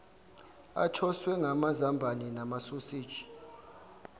athoswe ngamazambane namasoseji